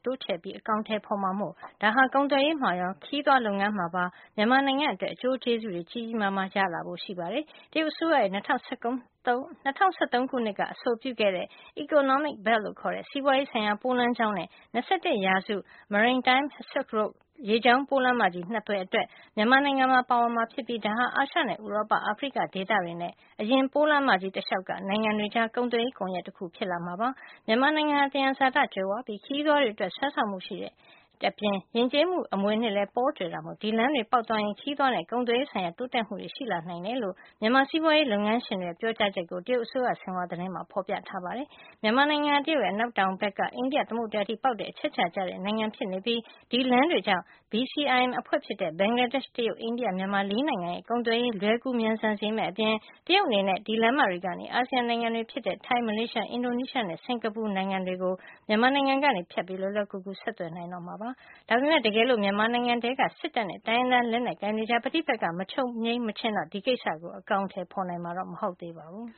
တိုးချဲ့ပြီး အကောင်ထည်ဖေါ်မှာမို့ ဒါဟာ ကုန်သွယ်ရေးမှာရော ခရီးသွားလုပ်ငန်းမှာပါ မြန်မာနိုင်ငံ အတွက် အကျိုးကျေးဇူးတွေ ကြီးကြီးမားမား ရနိုင်တယ်လို့ ယူဆကြောင်း မြန်မာလုပ်ငန်းရှင် တချို့က ပြောပါတယ်။ တရုတ်အစိုးရရဲ့ ၂၀၁၃ ခုနှစ်က အဆိုပြုခဲ့တဲ့ Silk Road Economic Belt လို့ခေါ်တဲ့ စီးပွါးရေးဆိုင်ရာပိုးလမ်းကြောင်း နဲ့ ၂၁ ရာစု Maritime Silk Road ရေကြောင်း ပိုးလမ်းမကြီး ၂ သွယ်အတွက် မြန်မာနိုင်ငံပါ ပါဝင်မှာ ဖြစ်ပြီး ဒါဟာ အာရှနဲ့ ဥရောပ၊ အာဖရိက ဒေသတွေနဲ့ အရင် ပိုးလမ်းမကြီး တလျှောက်က နိုင်ငံတွေကြား ကုန်သွယ်ရေး ကွန်ယက်တခု ဖြစ်လာမှာပါ။ မြန်မာနိုင်ငံဟာ သယံဇာတ ကြွယ်ဝပြီး ခရီးသွားတွေအတွက် ဆွဲဆောင်မှုရှိတဲ့ ယဉ်ကျေးမှု အမွေအနှစ်လည်း ပေါကြွယ်တာမို့ ဒီလမ်းတွေ ပေါက်သွားရင် ခရီးသွားနဲ့ ကုန်သွယ်ရေးဆိုင်ရာ တိုးတက်မှုတွေ ရှိလာနိုင်တယ်လို့ မြန်မာစီးပွါးရေး လုပ်ငန်းရှင်တွေရဲ့ ပြောကြားချက်ကို တရုတ်အစိုးရရဲ့ Xinhua သတင်းမှာ ဖေါ်ပြထားပါတယ်။ မြန်မာနိုင်ငံဟာ တရုတ်ရဲ့ အနောက်တောင်ဘက်က အိန္ဒိယ သမုဒ္ဒရာအထိ ပေါက်တဲ့ အချက်အချာ ကျတဲ့ နိုင်ငံဖြစ်နေပြီး ဒီလမ်းတွေကြောင့် BCIM အဖွဲ့ဖြစ်တဲ့ ဘင်္ဂလားဒေ့ရှ့်၊ တရုတ်၊ အိန္ဒိယ၊ မြန်မာ ၄ နိုင်ငံရဲ့ ကုန်သွယ်ရေးလွယ်ကူမြန်ဆန်စေမယ့် အပြင် တရုတ်အနေနဲ့ ဒီလမ်းမတွေကနေ အာဆီယံ နိုင်ငံတွေဖြစ်တဲ့ ထိုင်း၊ မလေးရှား၊ အင်ဒိုနီးရှားနဲ့ စင်္ကာပူနိုင်ငံတွေကို မြန်မာနိုင်ငံကနေ ဖြတ်ပြီး လွယ်လွယ်ကူကူ ဆက်သွယ်နိုင်တော့မှာ ဖြစ်ပါတယ်။ ဒါပေမယ့် တကယ်လို့ မြန်မာနိုင်ငံထဲက စစ်တပ်နဲ့ တိုင်းရင်းသား လက်နက်ကိုင်တွေကြား ပဋိပက္ခတွေ မချုပ်ငြိမ်းမချင်းတော့ ဒီကိစ္စကို အကောင်ထည် ဖေါ်နိုင်မှာ မဟုတ်ပါဘူး။